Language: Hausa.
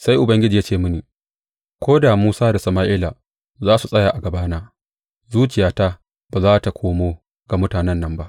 Sai Ubangiji ya ce mini, Ko da Musa da Sama’ila za su tsaya a gabana, zuciyata ba za tă komo ga mutanen nan ba.